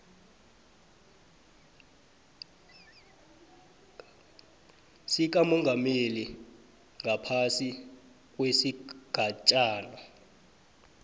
sikamongameli ngaphasi kwesigatjana